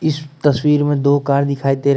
इस तस्वीर में दो कार दिखाई दे रहे--